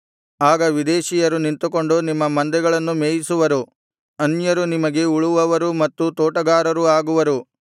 ಆಗ ವಿದೇಶೀಯರು ನಿಂತುಕೊಂಡು ನಿಮ್ಮ ಮಂದೆಗಳನ್ನು ಮೇಯಿಸುವರು ಅನ್ಯರು ನಿಮಗೆ ಉಳುವವರೂ ಮತ್ತು ತೋಟಗಾರರೂ ಆಗುವರು